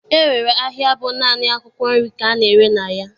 E nwere ahịa bụ naanị akwụkwọ nri ka a na-ere na ya.